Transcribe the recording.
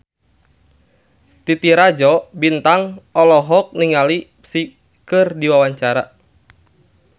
Titi Rajo Bintang olohok ningali Psy keur diwawancara